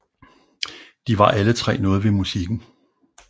De var alle 3 noget ved musikken